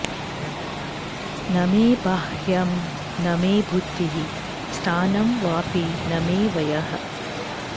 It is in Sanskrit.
न मे बाह्यं न मे बुद्धिः स्थानं वापि न मे वयः